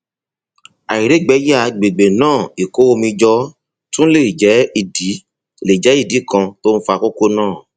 àìrígbẹyà àgbègbè náà ìkó omi jọ tún lè jẹ ìdí lè jẹ ìdí kan tó ń fa kókó náà